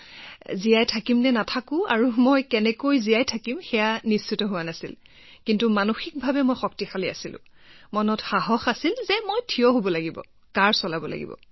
মই বাচিম নে নাই কোনো নিশ্চয়তা নাছিল আৰু বাচিলেও কেনেকৈ জীয়াই থাকিম কিন্তু কথাটো হল ভিতৰৰ পৰাই মোৰ সাহস আছিল যে মই থিয় হৈ থাকিব লাগিবআৰু ধনুকাঁড়ো চলাব লাগিব